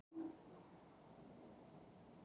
Hafa óeirðir brotist út